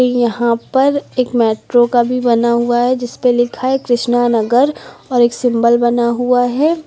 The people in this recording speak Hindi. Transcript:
यहां पर एक मेट्रो का भी बना हुआ है जिस पे लिखा है कृष्णा नगर और एक सिंबल बना हुआ है।